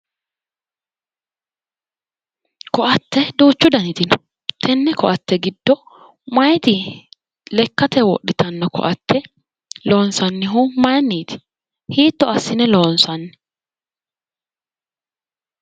Koatte duuchu danniti no, tene koatte giddo mayiti lekkate wodhittano koatte loonsannihu mayiiniti, hiitto assine loonsanni ?